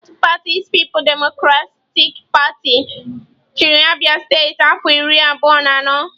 Otu pati People's Democratic Party (PDP) chịrị Abia steeti afọ iri abụọ na anọ.